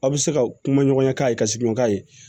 Aw bɛ se ka kuma ɲɔgɔnya k'a ye ka sigi ɲɔgɔn k'a ye